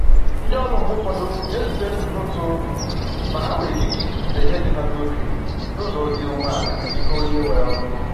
Ndi ọrụ mgbe ụfọdụ na ezute nnutu ma ha nwere ikike ikwupụta ihe dị ha n’obi n’ụzọ dị umeala n’ihu onye nwe ọrụ